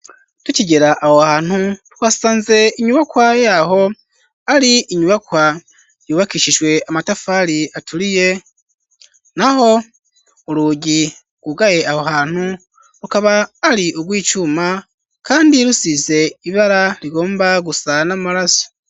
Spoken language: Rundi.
Tukigera aho hantu twasanze inyubakwaye aho ari inyubakwa yubakishijwe amatafari aturiye naho urugi rwugaye aho hantu rukaba ari ugwicuma kandi rusize ibara rigomba gusa n'amaraso.